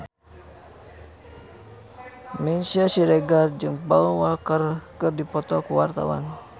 Meisya Siregar jeung Paul Walker keur dipoto ku wartawan